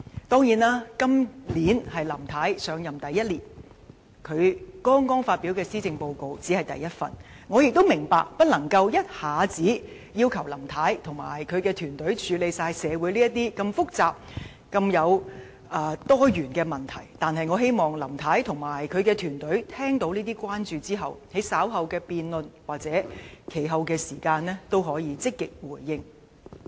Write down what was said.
當然，今年是林太上任的第一年，她剛發表第一份施政報告，我們不能要求林太及其團隊一下子解決社會上所有如此複雜和多元的問題，但我希望他們聽到這些關注後，能在稍後的辯論或其後的時間積極回應。